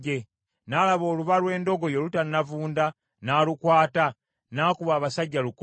N’alaba oluba lw’endogoyi olutannavunda, n’alukwata, n’akuba abasajja lukumi.